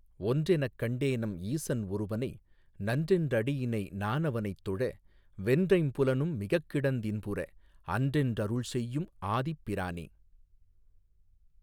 ஒன்றெனக் கண்டேனெம் ஈசன் ஒருவனை நன்றென்றடியிணை நானவனைத்தொழ வென்றைம் புலனும் மிகக்கிடந் தின்புற அன்றென்றருள்செய்யும் ஆதிப் பிரானே.